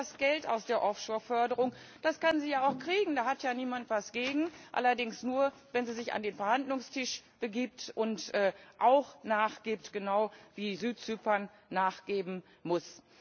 Natürlich, sie will das Geld aus der Offshore Förderung, das kann sie ja auch kriegen, da hat ja niemand etwas dagegen allerdings nur, wenn sie sich an den Verhandlungstisch begibt und auch nachgibt, genau wie Südzypern nachgeben muss.